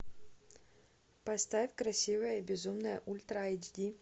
поставь красивая и безумная ультра айч ди